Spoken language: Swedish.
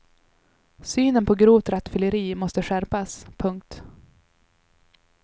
Synen på grovt rattfylleri måste skärpas. punkt